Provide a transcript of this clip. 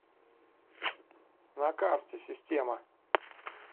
на карте система